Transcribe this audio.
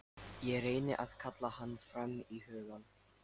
Ég reyni að kalla hann fram í hugann.